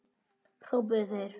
hrópuðu þeir.